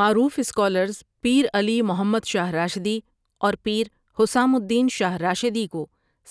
معروف اسکالرز پیر علی محمد شاہ راشدی اور پیر حسام الدین شاہ راشدی کو